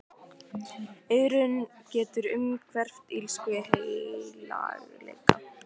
Iðrun getur umhverft illsku í heilagleika.